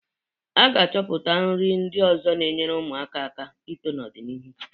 A ga-achọpụta nri ndị ọzọ na-enyere ụmụaka aka ito n'ọ dị n'iru.